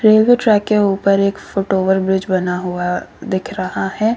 Railway track के ऊपर एक फूट ओवर ब्रिज बना हुआ दिख रहा है।